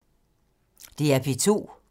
DR P2